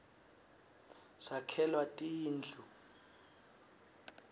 sakhelwa tindu